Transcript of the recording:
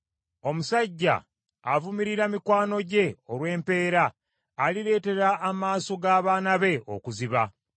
Omusajja avumirira mikwano gye olw’empeera alireetera amaaso g’abaana be okuziba.